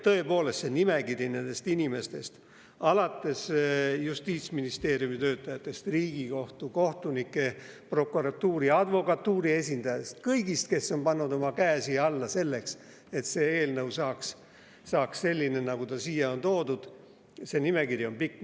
Tõepoolest, see nimekiri nendest inimestest – Justiitsministeeriumi töötajatest, Riigikohtu, kohtunike, prokuratuuri ja advokatuuri esindajatest, kõigist, kes on pannud oma käe siia alla, et see eelnõu saaks selline, nagu ta siia on toodud –, see nimekiri on pikk.